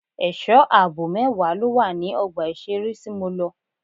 Ẹ̀sọ́ àbò mẹ́wàá ló wà ní ọgbà ìṣeré tí mo lọ.